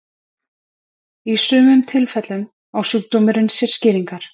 Í sumum tilfellum á sjúkdómurinn sér skýringar.